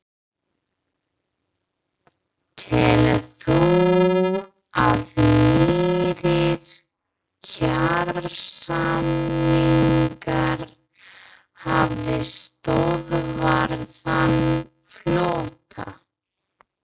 Telur þú að nýir kjarasamningar hafi stöðvað þann flótta?